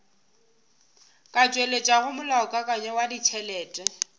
ka tšweletšago molaokakanywa wa ditšhelete